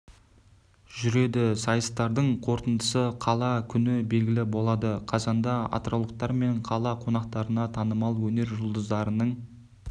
жүреді сайыстардың қорытындысы қала күні белгілі болады қазанда атыраулықтар мен қала қонақтарына танымал өнер жұлдыздарының